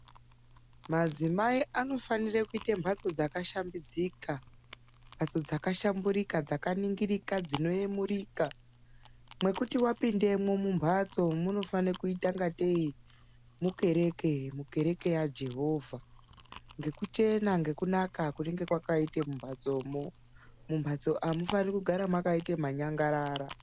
Madzimai anofanira kuita mbatso dzakashambidzika mbatso dzakashamburika dzakaningirika dzinoyemurika mwekuti wapindemo mumbatso munofane kuita ingateyi mukereke, mukereke yaJehovha ngekuchena, ngekunaka kunenge kwakaita mumbatsomo. Mumhatso amufaniri kugara makaita manyangarara.